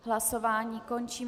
Hlasování končím.